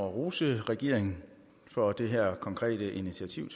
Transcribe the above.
rose regeringen for det her konkrete initiativ